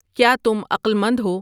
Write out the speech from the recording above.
کیا تم اقلمند ہو